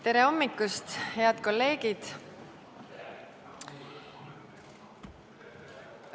Tere hommikust, head kolleegid!